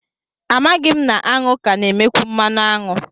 Amaghị m na aṅụ ka na-emekwu mmanụ aṅụ